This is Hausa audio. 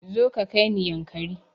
Zo ka kaini yankari